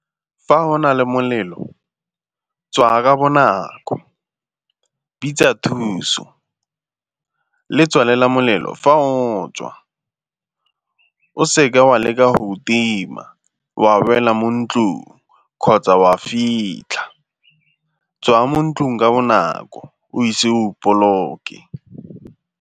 Fa o na le molelo tswaya bonako, bitsa thuso le tswalela molelo fa o tswa. O seke wa leka go o tima, wa boela mo ntlung kgotsa wa fitlha, tswaya mo ntlung ka bonako o ise o boloke.